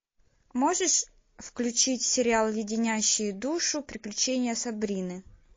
можешь включить сериал леденящие душу приключения сабрины